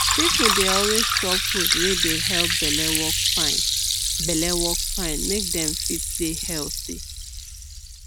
people dey always chop food wey dey help belle work fine belle work fine make dem fit dey healthy